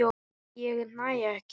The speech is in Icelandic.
Ég næ ekki.